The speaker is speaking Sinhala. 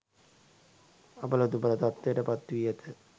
අබල දුබල තත්ත්වයට පත් වී ඇත